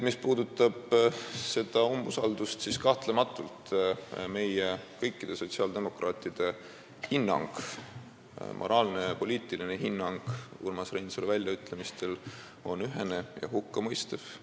Mis puudutab seda umbusaldushääletust, siis kahtlemata on meie, kõikide sotsiaaldemokraatide moraalne ja poliitiline hinnang Urmas Reinsalu väljaütlemistele ühene ja hukkamõistev.